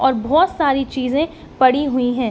और बहोत सारी चीजें पड़ी हुई हैं।